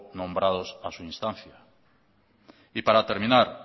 nombrados a su instancia para terminar